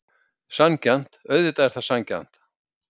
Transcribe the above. Sanngjarnt, auðvitað er það sanngjarnt.